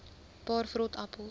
paar vrot appels